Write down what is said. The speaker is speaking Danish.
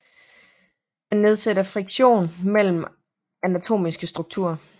Den nedsætter friktion mellem anatomiske strukturer